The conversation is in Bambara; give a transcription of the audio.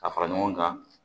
Ka fara ɲɔgɔn kan